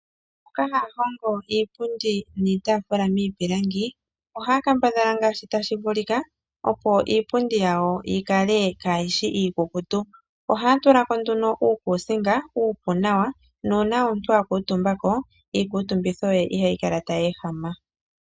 Mboka haa hongo iipundi niitaafula miipilangi, ohaa kambadhala ngaashi tadhi vulika, opo iipundi yawo yi kale kaayi shi iikukutu. Ohaa tula ko nduno uukuusinga uupu nawa, nuuna omuntu a kuutumba ko, iikuutumbitho ye ihayi kala tayi ehama.